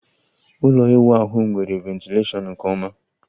ụlọ ịwụ ahu nwere ventilashion nke oma